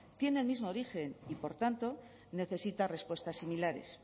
tiene el mismo origen y por tanto necesita respuestas similares